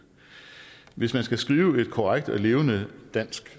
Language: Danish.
hvis man skal skrive et korrekt og levende dansk